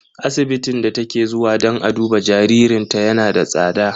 Asibitin da take zuwa dan a duba jaririnta yana da tsada.